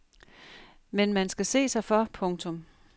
Men man skal se sig for. punktum